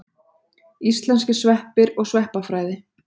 Íslenskir sveppir og sveppafræði.